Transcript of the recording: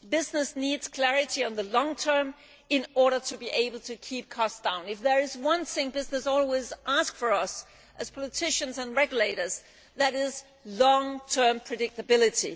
Business needs clarity in the long term in order to be able to keep costs down. If there is one thing business always asks from us as politicians and regulators, it is long term predictability.